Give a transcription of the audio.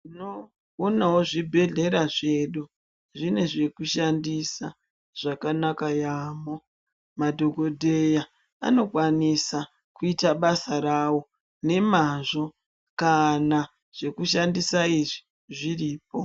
Tinoonawo zvibhedhlera zvedu, Zvine zvekushandisa zvakanaka yaamho. Madhogodheya anokwanisa kuita basa rawo nemazvo kana zvekushandisa izvi zviripo.